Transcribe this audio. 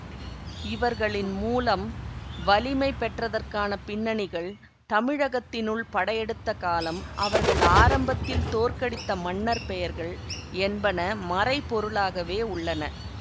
இவர்களின் மூலம் வலிமை பெற்றதற்கான பின்னணிகள் தமிழகத்தினுள் படையெடுத்த காலம் அவர்கள் ஆரம்பத்தில் தோற்கடித்த மன்னர் பெயர்கள் என்பன மறைபொருளாகவே உள்ளன